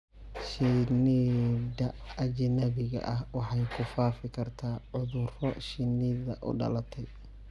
Shinnida ajnabiga ah waxay ku faafi kartaa cudurro shinnida u dhalatay.